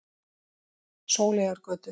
Sóleyjargötu